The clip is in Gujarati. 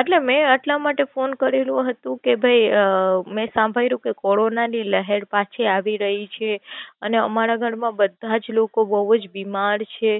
એટલે મેં એટલા માટે કોલ કરેલો હતો કે ભાઈ અઅ મેં સાંભઈલું કે કોરોનાની લહેર પા છી આવી રહી છે અને અમારા ઘરમાં બધા જ લોકો બોવ જ બીમાર છે.